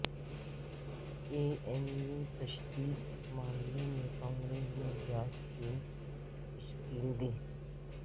جے N U تشدد معاملہ میں کانگریس نے جانچ ٹیم تشکیل دی